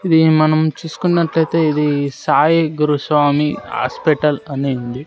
ఇది మనం చూస్కున్నట్లైతే ఇది సాయి గురుస్వామి హాస్పటల్ అని ఉంది.